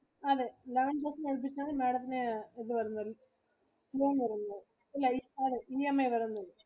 അതെ eleven thousand ഇന് അടുപ്പിച്ചാണ് Madam ത്തിന് ഇത് വരുന്നത്. loan വരുന്നത് അതെ EMI വരുന്നത്.